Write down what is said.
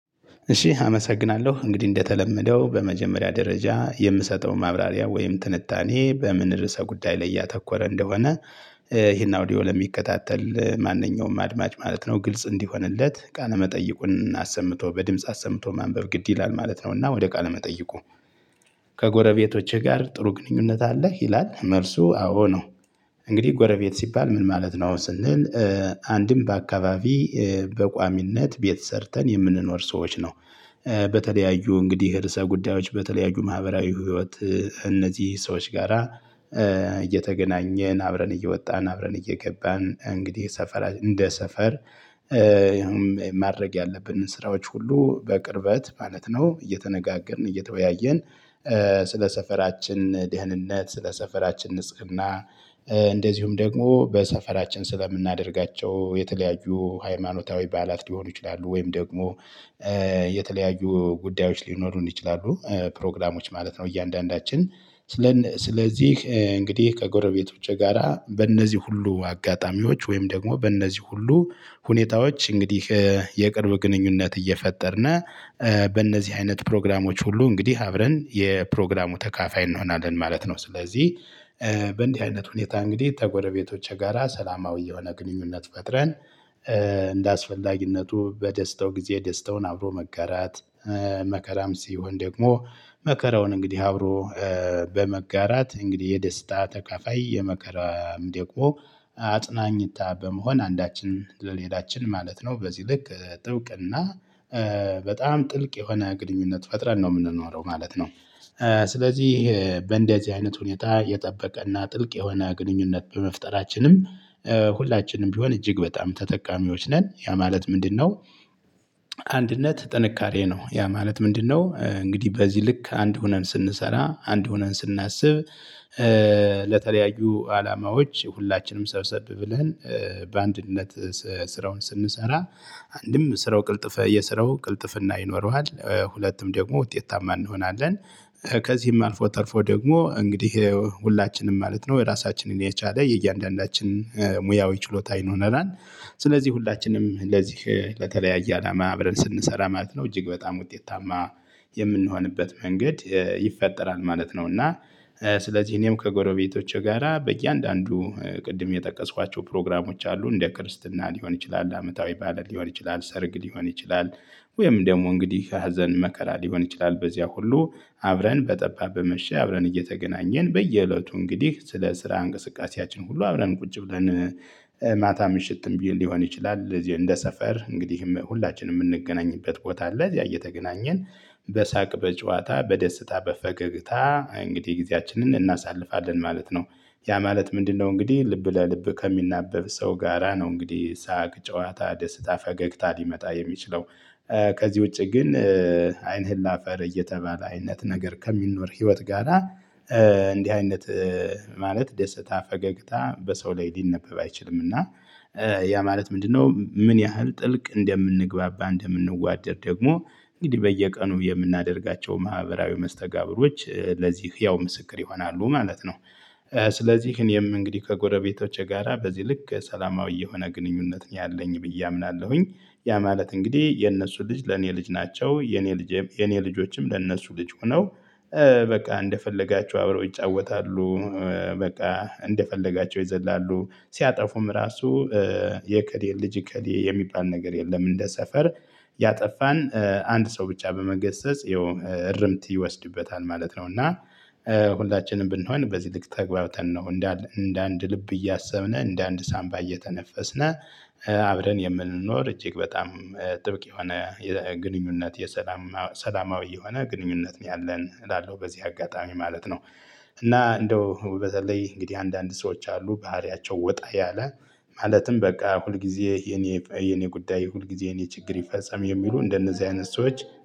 እሺ አመሰግናለሁ። እንግዲህ እንደተለመደው በመጀመሪያ ደረጃ የምሰጠው ማብራሪያ ወይም ትንታኔ በምን ርዕሰ ጉዳይ ላይ ያተኮረ እንደሆነ ይሄን አውዲዮ ለሚከታተል ማንኛውም አድማጭ ማለት ነው ግልጽ እንዲሆንለት ቃለመጠይቁን አሰምቶ በድምጽ አሰምቶ ማንበብ ግድ ይላል ማለት ነውና ወደ ቃለመጠይቁ። ከጎረቤት ጋር ጥሩ ግንኙነት አለህ ይላል? መልሱ አዎ ነው። እንግዲህ ጎረቤት ሲባል ምን ማለት ነው? ስንል አንድም በአካባቢ በቋሚነት ቤት ሰርተን የምንኖር ሰዎች ነው። በተለያዩ እንግዲህ የርዕሰ ጉዳዮች በተለያዩ ማህበራዊ ህይወት እነዚህ ሰዎች ጋራ እየተገናኘን አብረን እየወጣን፣ አብረን እየገባን እንግዲህ ሰፈራ፣ እንደ ሰፈር ይሄንን ማድረግ ያለብንን ስራዎች ሁሉ በቅርበት ማለት ነው እየተነጋገርን፣ እየተወያየን ስለ ሰፈራችን ደህንነት፣ ስለ ሰፈራችን ንጽና እንደዚሁም ደግሞ በሰፈራችን ስለምናደርጋቸው የተለያዩ ሃይማኖታዊ በዓላት ሊሆኑ ይችላሉ፣ ወይም ደግሞ የተለያዩ ጉዳዮች ሊኖሩን ይችላሉ፣ ፕሮግራሞች ማለት ነው እያንዳንዳችን ስለዚህ እንግዲህ ከጎረቤቶቼ ጋራ በእነዚህ ሁሉ አጋጣሚዎች ወይም ደግሞ በእነዚህ ሁሉ ሁኔታዎች እንግዲህ የቅርብ ግንኙነት እየፈጠርን በእነዚህ አይነት ፕሮግራሞች ሁሉ እንግዲህ አብረን የፕሮግራሙ ተካፋይ እንሆናለን ማለት ነው። ስለዚህ በእንዲህ አይነት ሁኔታ እንግዲህ ከጎረቤቶች ጋራ ሰላማዊ የሆነ ግንኙነት ፈጥረን እንደአስፈላጊነቱ በደስተው ጊዜ ደስተውን አብሮ መጋራት መከራም ሲሆን ደግሞ መከራውን እንግዲህ አብሮ በመጋራት እንግዲህ የደስታ ተካፋይ፣ የመከራ ደቂቃ አጽናኝታ በመሆን አንዳችን ለሌላችን ማለት ነው በዚህ ልክ ጥብቅና በጣም ጥልቅ የሆነ ግንኙነት ፈጥረን ነው የምንኖረው ማለት ነው። ስለዚህ በእንደዚህ አይነት ሁኔታ የጠበቀና ጥልቅ የሆነ ግንኙነት በመፍጠራችንም ሁላችንም ቢሆን እጅግ በጣም ተጠቃሚዎች ነን። ያ ማለት ምንድነው? አንድነት ጥንካሬ ነው፣ ያ ማለት ምንድነው? እንግዲህ በዚህ ልክ አንድ ሆነን ስንሰራ፣ አንድ ሆነን ስናስብ፣ ለተለያዩ አላማዎች ሁላችንም ሰብሰብ ብለን በአንድነት ስራውን ስንሰራ አንድም ስራው ቅልጥፍ፣ የስራው ቅልጥፍና ይኖረዋል። ሁለቱም ደግሞ ውጤታማ እንሆናለን። ከዚህም አልፎ ተርፎ ደግሞ እንግዲህ ሁላችንም ማለት ነው ራሳችንን የቻለ የእያንዳንዳችን ሙያዊ ችሎታ ይኖረናል። ስለዚህ ሁላችንም ለዚህ ለተለያየ አላማ አብረን ስንሰራ ማለት ነው እጅግ በጣም ውጤታማ የምንሆንበት መንገድ ይፈጠራል ማለት ነው። እና ስለዚህ እኔም ከጎረቤቶቼ ጋራ በእያንዳንዱ ቅድም የጠቀስኳቸው ፕሮግራሞች አሉ፣ እንደ ክርስትና ሊሆን ይችላል፣ አመታዊ በዓላት ሊሆን ይችላል፣ ሰርግ ሊሆን ይችላል፣ ወይም ደግሞ እንግዲህ ሀዘን፣ መከራ ሊሆን ይችላል፤ በዚያ ሁሉ አብረን በጠባ፣ በመሸ አብረን እየተገናኘን በየእለቱ እንግዲህ ስለ ስራ እንቅስቃሴያችን ሁሉ አብረን ቁጭ ብለን ማታ ምሽትም ቢል ሊሆን ይችላል እንደ ሰፈር እንግዲህም ሁላችንም የምንገናኝበት ቦታ አለ። እዚያ እየተገናኘን በሳቅ፣ በጨዋታ፣ በደስታ፣ በፈገግታ እንግዲህ ጊዜያችንን እናሳልፋለን ማለት ነው። ያ ማለት ምንድነው እንግዲህ ልብ ለልብ ከሚናበብ ሰው ጋራ ነው እንግዲህ ሳቅ፣ ጨዋታ፣ ደስታ፣ ፈገግታ ሊመጣ የሚችለው። ከዚህ ውጪ ግን አይንህ ለአፈር እየተባለ አይነት ነገር ከሚኖር ህይወት ጋራ እንዲህ አይነት፣ ማለት ደስታ፣ ፈገግታ በሰው ላይ ሊነበብ አይችልም እና ያ ማለት ምንድነው? ምን ያህል ጥልቅ እንደምንግባባ፣ እንደምንዋደድ ደግሞ እንግዲህ በየቀኑ የምናደርጋቸው ማህበራዊ መስተጋብሮች ለዚህ ህያው ምስክር ይሆናሉ ማለት ነው። ስለዚህ እኔም እንግዲህ ከጎረቤቶቼ ጋራ በዚህ ልክ ሰላማዊ የሆነ ግንኙነት ነው ያለኝ ብዬ አምናለሁኝ። ያ ማለት እንግዲህ የነሱ ልጅ ለኔ ልጅ ናቸው። የኔ ልጅ የኔ ልጆችም ለነሱ ልጅ ሆነው በቃ እንደፈለጋቸው አብረው ይጫወታሉ። በቃ እንደፈለጋቸው ይዘላሉ፣ ሲያጠፉም ራሱ የእከሌ ልጅ፣ እከሌ የሚባል ነገር የለም። እንደ ሰፈር ያጠፋን አንድ ሰው ብቻ በመገሰጽ ይኸው እርምት ይወስድበታል ማለት ነው። እና ሁላችንም ብንሆን በዚህ ልክ ተግባብተን ነው እንደ አንድ ልብ እያሰብን እንደ አንድ ሳንባ እየተነፈስን አብረን የምንኖር እጅግ በጣም ጥብቅ የሆነ የግንኙነት፣ የሰላም፣ ሰላማዊ የሆነ ግንኙነት ነው ያለን እላለሁ በዚህ አጋጣሚ ማለት ነው። እና እንደው በተለይ እንግዲህ አንዳንድ ሰዎች አሉ ባህሪያቸው ወጣ ያለ፣ ማለትም በቃ ሁልጊዜ የኔ፣ የኔ ጉዳይ ሁልጊዜ የኔ ችግር ይፈጸም የሚሉ እንደነዚህ አይነት ሰዎች